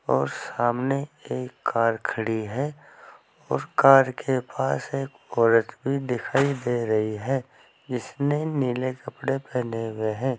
और सामने एक कार खड़ी है और कार के पास एक औरत भी दिखाई दे रही है जिसने नीले कपड़े पहने हुए हैं।